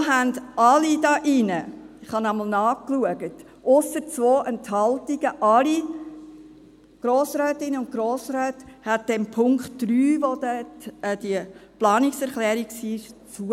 So stimmten alle Grossrätinnen und Grossräte hier in diesem Saal – ich habe noch einmal nachgeschaut – dem Punkt 3, also dieser Planungserklärung, zu;